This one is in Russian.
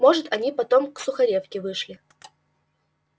может они потом к сухаревке вышли